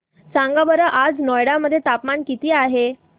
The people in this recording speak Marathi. सांगा बरं आज नोएडा मध्ये तापमान किती आहे